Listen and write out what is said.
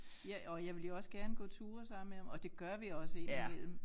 Ja og jeg vil jo også gerne gå ture sammen med ham og det gør vi også indimellem